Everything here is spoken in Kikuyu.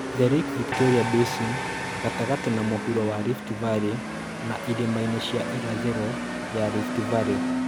The Lake Victoria Basin, gatagatĩ na mũhuro wa Rift Valley na irĩma-inĩ cia irathĩro ya Rift Valley